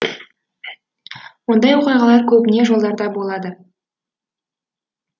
ондай оқиғалар көбіне жолдарда болады